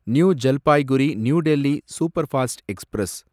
new Jalpaiguri new Delhi superfast express